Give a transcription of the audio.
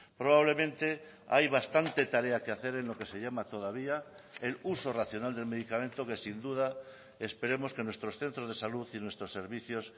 probablemente hay bastante tarea que hacer en lo que se llama todavía el uso racional del medicamento que sin duda esperemos que nuestros centros de salud y nuestros servicios